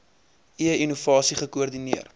e innovasie gekoordineer